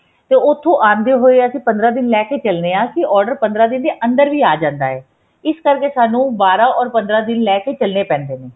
ਤੇ ਉੱਥੋ ਆਉਦੇ ਹੋਏ ਅਸੀਂ ਪੰਦਰਾਂ ਦਿਨ ਲੈਕੇ ਚੱਲਣੇ ਏ ਅਸੀਂ order ਪੰਦਰਾਂ ਦਿਨ ਦੇ ਅੰਦਰ ਵੀ ਆ ਜਾਂਦਾ ਹੈ ਇਸ ਕਰਕੇ ਸਾਨੂੰ ਬਾਰਾਂ or ਪੰਦਰਾਂ ਦਿਨ ਲੈਕੇ ਚੱਲਣੇ ਪੈਂਦੇ ਨੇ